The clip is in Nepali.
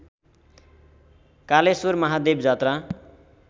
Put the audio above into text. कालेश्वर महादेवजात्रा